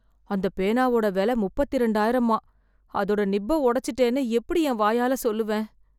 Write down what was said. அந்தப் பேனாவோட விலை முப்பத்தி ரெண்டாயிரமாம். அதோட நிப்ப உடைச்சிட்டேன்னு எப்படி என் வாயால சொல்லுவேன்!